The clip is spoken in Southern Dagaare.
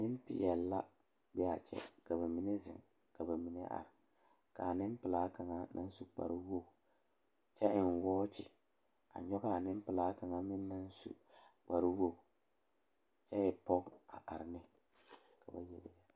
Nempeɛle la be a kyɛ ka ba mine zeŋ ka ba mine are k,a nempelaa kaŋa naŋ su kparewogi kyɛ eŋ wɔɔkye a nyɔge a nempelaa kaŋ meŋ naŋ su kparewogi kyɛ e pɔge a are ne ka ba yele yɛlɛ.